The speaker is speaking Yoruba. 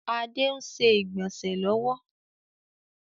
Adé ń ṣe ìgbọ̀nsẹ̀ lọ́wọ́